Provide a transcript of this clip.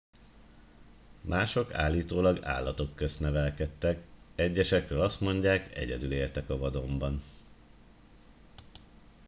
mások állítólag állatok közt nevelkedtek egyesekről azt mondják egyedül éltek a vadonban